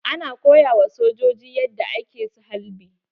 Ana koya ma sojoji yadda ake halbi.